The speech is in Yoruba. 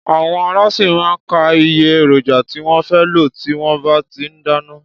Àwọn alásè má a n ka iye èròjà tí wón fé lò tí wón bá ti n dáná